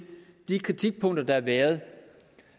de kritikpunkter der har været